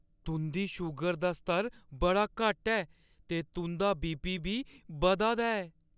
तुंʼदी शूगर दा स्तर बड़ा घट्ट ऐ, ते तुंʼदा बी.पी. बी बधा दा ऐ।